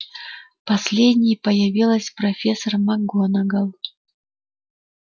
последней появилась профессор макгонагалл